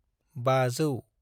500